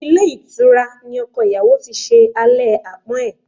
Ilé ìtura ní ọkọ ìyàwó tí ṣe alẹ́ àpọ́n ẹ̀.